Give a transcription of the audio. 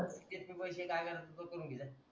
देत नाय पैसे काय करायचा करून घे जा